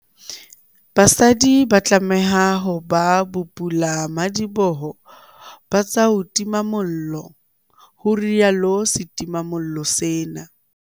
BASADI ba tlameha ho ba bopulamadiboho ba tsa ho tima mollo, ho rialo setimamollo sena.